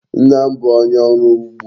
Nna m bu onye oru ugbo